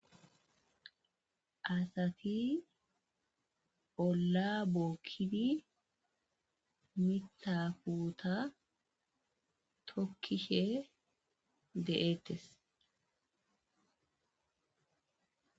asati olla bookkidi mitha futa tokkishe de'eettes